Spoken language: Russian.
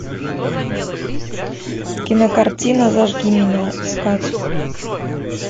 кинокартина зажги меня искать